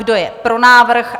Kdo je pro návrh?